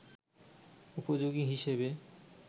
উপযোগী হিসাবে